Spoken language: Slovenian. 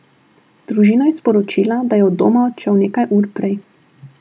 Družina je sporočila, da je od doma odšel nekaj ur prej.